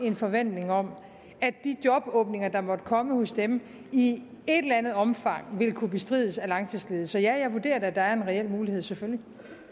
en forventning om at de jobåbninger der måtte komme hos dem i et eller andet omfang vil kunne bestrides af langtidsledige så ja jeg vurderer at der er en reel mulighed selvfølgelig